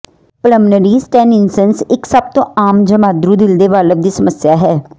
pulmonary stenosis ਇਕ ਸਭ ਤੋਂ ਆਮ ਜਮਾਂਦਰੂ ਦਿਲ ਦੇ ਵਾਲਵ ਦੀ ਸਮੱਸਿਆ ਹੈ